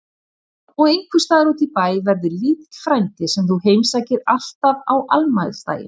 Já og einhvers staðar útí bæ verður lítill frændi sem þú heimsækir alltaf á afmælisdaginn.